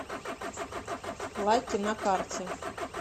лакки на карте